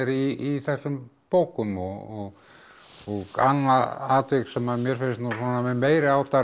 í þessum bókum og annað atvik sem mér finnst nú með meiriháttar